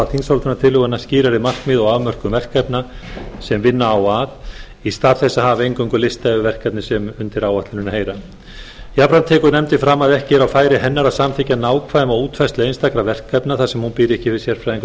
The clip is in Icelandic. þingsályktunartillöguna skýrari markmið og afmörkun verkefna sem vinna á að í stað þess að hafa eingöngu lista yfir verkefnin sem undir áætlunina heyra jafnframt tekur nefndin fram að ekki er á færi hennar að samþykkja nákvæma útfærslu einstakra verkefna þar sem hún býr ekki yfir sérfræðiþekkingu